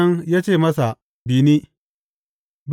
Sa’an nan ya ce masa, Bi ni!